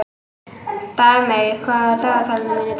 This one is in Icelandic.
Dagmey, hvað er á dagatalinu mínu í dag?